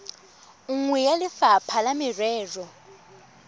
nngwe ya lefapha la merero